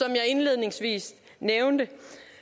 jeg indledningsvis nævnte